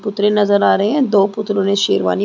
पुतरे नज़र आ रहै है दो पुतरों ने शेरवानी--